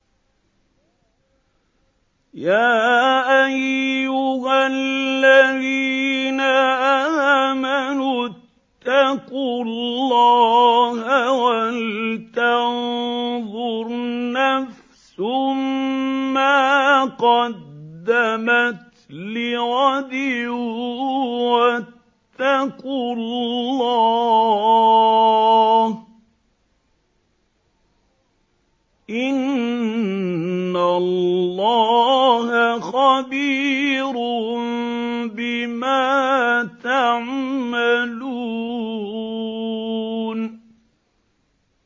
يَا أَيُّهَا الَّذِينَ آمَنُوا اتَّقُوا اللَّهَ وَلْتَنظُرْ نَفْسٌ مَّا قَدَّمَتْ لِغَدٍ ۖ وَاتَّقُوا اللَّهَ ۚ إِنَّ اللَّهَ خَبِيرٌ بِمَا تَعْمَلُونَ